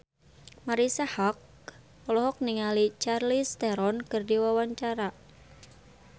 Marisa Haque olohok ningali Charlize Theron keur diwawancara